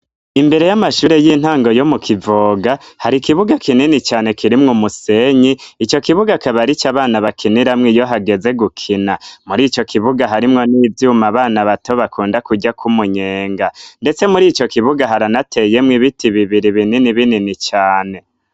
Imbere y'amashure y'intango yo mu kivoga hari ikibuga kinini cane kirimwo umusenyi ico kibuga kabarico abana bakiniramwo iyo hageze gukina muri ico kibuga harimwo n'ivyuma abana bato bakunda kurya kwumunyenga, ndetse muri ico kibuga haranateyemwo ibiti bibiri binini binini cane.